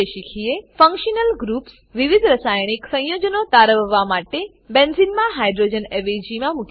functional groups functional groups વિવિધ રાસાયણિક સંયોજનો તારવવા માટે બેન્ઝીનમાં હાઇડ્રોજન અવેજીમાં મૂકી શકે છે